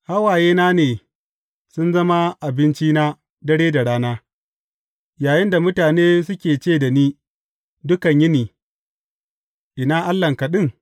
Hawayena ne sun zama abincina dare da rana, yayinda mutane suke ce da ni dukan yini, Ina Allahnka ɗin?